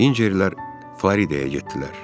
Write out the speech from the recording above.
Hincerlər Faridəyə getdilər.